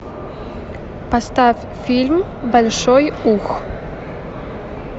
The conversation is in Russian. поставь фильм большой ух